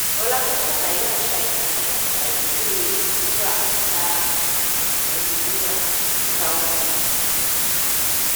rọ́lákẹ́ ṣàlàyé àṣà ìkànì-àgbáyé rírà/tà ìkànì-àgbáyé rírà/tà ohun-ìní um nft